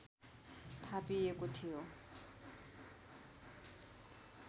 थापिएको थियो